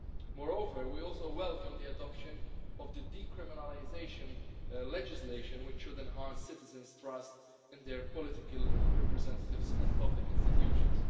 Moreover, we also welcome the adoption of the decriminalisation legislation, which should enhance citizens' trust in their political representatives and public institutions.